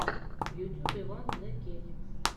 в ютюбе ван зе кей